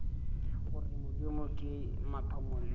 gore modimo ke mathomo le